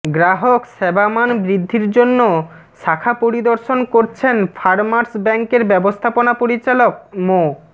গ্রাহক সেবামান বৃদ্ধির জন্য শাখা পরিদর্শন করছেন ফারমার্স ব্যাংকের ব্যবস্থাপনা পরিচালক মো